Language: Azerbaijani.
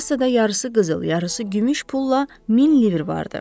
Kassada yarısı qızıl, yarısı gümüş pulla min lir var idi.